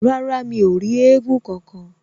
Rárá, mi ò rí éégún kankan